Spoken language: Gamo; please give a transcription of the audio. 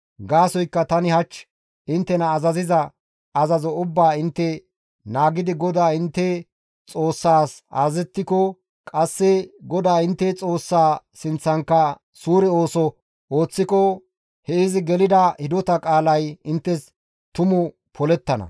Gaasoykka tani hach inttena azaziza azazo ubbaa intte naagidi GODAA intte Xoossaas azazettiko, qasse GODAA intte Xoossaa sinththankka suure ooso ooththiko he izi gelida hidota qaalay inttes tumu polettana.